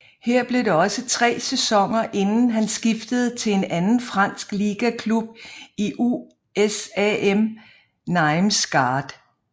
Her blev det også tre sæsoner inden han skiftede til en anden fransk ligaklub i USAM Nîmes Gard